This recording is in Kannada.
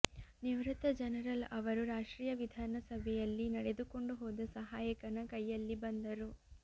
ನಿವೃತ್ತ ಜನರಲ್ ಅವರು ರಾಷ್ಟ್ರೀಯ ವಿಧಾನಸಭೆಯಲ್ಲಿ ನಡೆದುಕೊಂಡು ಹೋದ ಸಹಾಯಕನ ಕೈಯಲ್ಲಿ ಬಂದರು